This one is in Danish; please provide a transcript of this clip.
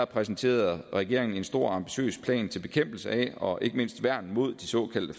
præsenterede regeringen en stor og ambitiøs plan til bekæmpelse af og ikke mindst værn mod de såkaldte